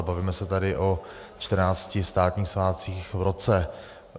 A bavíme se tady o 14 státních svátcích v roce.